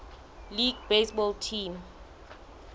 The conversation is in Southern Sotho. league baseball team